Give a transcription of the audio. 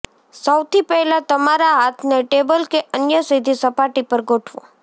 સૌથી પહેલાં તમારા હાથને ટેબલ કે અન્ય સીધી સપાટી પર ગોઠવો